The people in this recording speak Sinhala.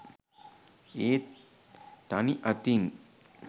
ඒත් තනි අතින්